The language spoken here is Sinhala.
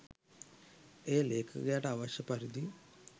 එය ලේඛකයාට අවශ්‍ය පරිදි